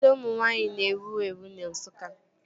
Ọkada ụmụ nwaanyị na-ewu ewu na Nsukka